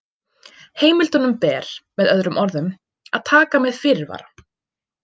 Heimildunum ber, með öðrum orðum, að taka með fyrirvara.